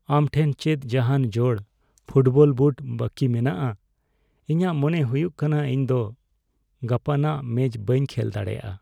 ᱟᱢ ᱴᱷᱮᱱ ᱪᱮᱫ ᱡᱟᱦᱟᱱ ᱡᱳᱲ ᱯᱷᱩᱴᱵᱚᱞ ᱵᱩᱴ ᱵᱟᱹᱠᱤ ᱢᱮᱱᱟᱜᱼᱟ ? ᱤᱧᱟᱜ ᱢᱚᱱᱮ ᱦᱩᱭᱩᱜ ᱠᱟᱱᱟ ᱤᱧ ᱫᱚ ᱜᱟᱯᱟᱱᱟᱜ ᱢᱮᱪ ᱵᱟᱹᱧ ᱠᱷᱮᱞ ᱫᱟᱲᱮᱭᱟᱜᱼᱟ ᱾